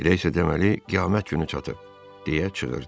Elə isə deməli qiyamət günü çatıb, deyə çığırdı.